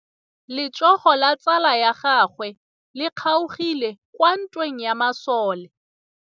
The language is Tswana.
Letsôgô la tsala ya gagwe le kgaogile kwa ntweng ya masole.